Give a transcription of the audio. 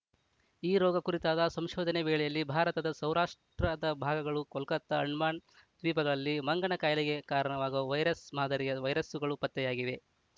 ಈ ರೋಗ ಕುರಿತಾದ ಸಂಶೋಧನೆ ವೇಳೆಯಲ್ಲಿ ಭಾರತದ ಸೌ ರಾಷ್ಟ್ರದ ಭಾಗಗಳು ಕೊಲ್ಕತ್ತಾ ಅಂಡಮಾನ್‌ ದ್ವೀಪಗಳಲ್ಲಿ ಮಂಗನ ಕಾಯಿಲೆಗೆ ಕಾರಣವಾಗುವ ವೈರಸ್‌ ಮಾದರಿಯ ವೈರಸ್ಸುಗಳು ಪತ್ತೆಯಾಗಿವೆ